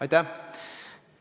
Aitäh!